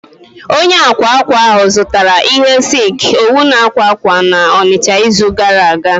Onye akwa akwa ahụ zụtara ihe silk, owu na akwa akwa na Onicha n'izu gara aga